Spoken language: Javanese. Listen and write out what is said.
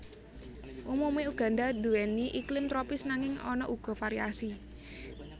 Umumé Uganda nduwèni iklim tropis nanging ana uga variasi